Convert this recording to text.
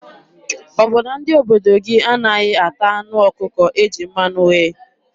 Ọ bụ na ndị obodo gị anaghị ata anụ ọkụkọ e ji mmanụ ghee?